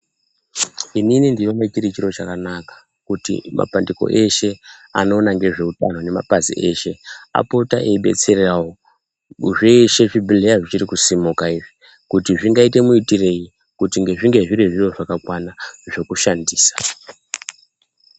Inini ndinoona chiri chiro chakanaka kuti mapandiko eshe anoona ngezve utano nemapazi eshe apote eibetseravo zveshe zvibhehlera zvichirikusimuka izvi kuti zvingaite muitoreyi kuti zvinge zvine zvakakwana zvekushandisa.